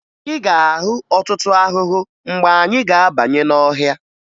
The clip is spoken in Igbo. Ị ga-ahụ ọtụtụ ahụhụ mgbe anyị ga-abanye n'ọhịa